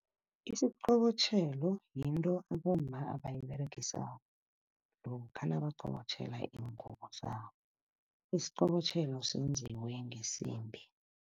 Isiqobotjhelo yinto abomma abayiberegisako lokha nabaqobotjhela iingubo zabo. Isiqobotjhelo senziwe ngesimbi.